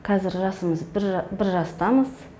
қазір жасымыз бір жастамыз